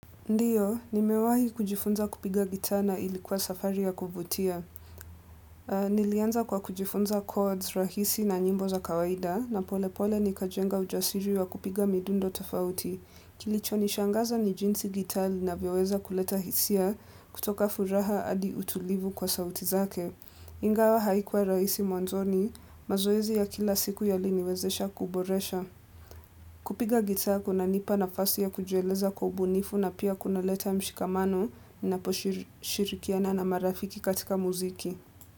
Ndiyo, nimewahi kujifunza kupiga gitaa na ilikuwa safari ya kuvutia. Nilianza kwa kujifunza cords rahisi na nyimbo za kawaida na pole pole nikajenga ujasiri wa kupiga midundo tafauti. Kilicho nishangaza ni jinsi gitaa linavyoweza kuleta hisia kutoka furaha hadi utulivu kwa sauti zake. Ingawa haikuwa rahisi mwanzoni, mazoezi ya kila siku yaliniwezesha kuboresha. Kupiga gitaa kuna nipa nafasi ya kujieleza kwa ubunifu na pia kuna leta mshikamano naposhirikiana na marafiki katika muziki.